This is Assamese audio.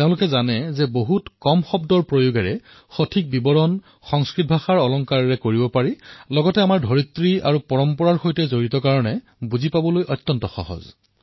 তেওঁলোকে জানে যে বহু কম শব্দতেই কোনো এটা কথাৰ উপযুক্ত প্ৰকাশ সংস্কৃতৰ দ্বাৰা হয় আৰু সেয়া আমাৰ ভূমিৰ সৈতে আমাৰ পৰম্পৰাৰ সৈতে জড়িত হোৱাৰ বাবে বুজাতো সহজ হয়